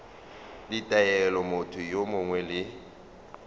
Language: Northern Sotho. ditaelo motho yo mongwe le